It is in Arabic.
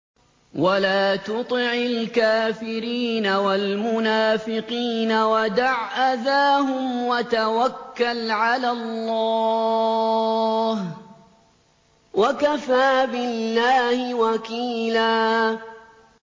وَلَا تُطِعِ الْكَافِرِينَ وَالْمُنَافِقِينَ وَدَعْ أَذَاهُمْ وَتَوَكَّلْ عَلَى اللَّهِ ۚ وَكَفَىٰ بِاللَّهِ وَكِيلًا